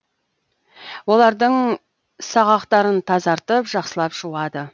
олардың сағақтарын тазартып жақсылап жуады